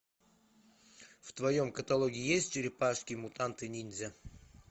в твоем каталоге есть черепашки мутанты ниндзя